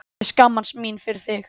Ég skammast mín fyrir þig.